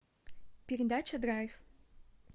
передача драйв